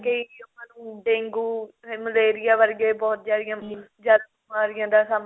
ਕਰਕੇ ਹੀ ਆਪਾਂ ਨੂੰ ਡੇਂਗੂ ਮਲੇਰੀਆ ਵਰਗੇ ਬਹੁਤ ਜਿਆਦੇ ਜਿਆਦਾ ਬੀਮਾਰੀਆ ਦਾ ਸਾਹਮਣਾ